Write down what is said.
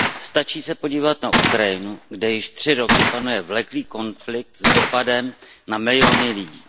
Stačí se podívat na Ukrajinu, kde již tři roky panuje vleklý konflikt s dopadem na miliony lidí.